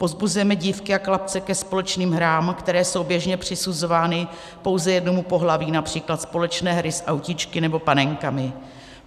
Povzbuzujeme dívky a chlapce ke společným hrám, které jsou běžně přisuzovány pouze jednomu pohlaví, například společné hry s autíčky nebo panenkami.